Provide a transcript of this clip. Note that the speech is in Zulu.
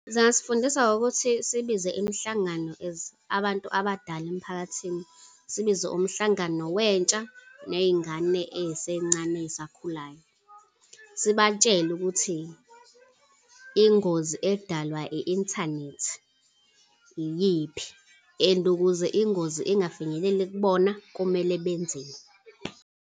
Zingasifundisa ngokuthi sibize imihlangano as abantu abadala emiphakathini, sibize umhlangano wentsha ney'ngane ey'sencane esakhulayo. Sibatshele ukuthi ingozi edalwa i-inthanethi iyiphi, and ukuze ingozi ingafinyeleli kubona, kumele benzeni.